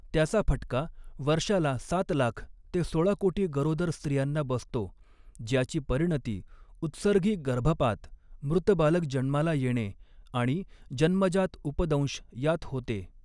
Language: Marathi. त्याचा फटका वर्षाला सात लाख ते सोळा कोटी गरोदर स्त्रियांना बसतो, ज्याची परिणती उत्सर्गी गर्भपात, मृत बालक जन्माला येणे आणि जन्मजात उपदंश यात होते.